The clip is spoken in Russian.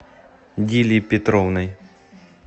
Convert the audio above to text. дилей петровной